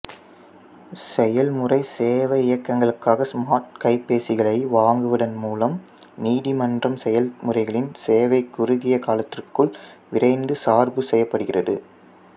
செயல்முறை சேவையகங்களுக்காக ஸ்மார்ட் கைபேசிகளை வாங்குவதன் மூலம் நீதிமன்ற செயல்முறைகளின் சேவை குறுகிய காலத்திற்குள் விரைந்து சார்பு செய்யப்படுகிறது